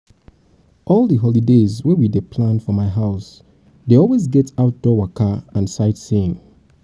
all di holidays wey we dey plan for my house dey always get outdoor waka and sightseeing.